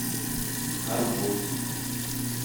арбуз